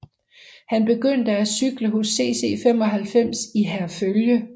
Han begyndte at cykle hos CC 95 i Herfølge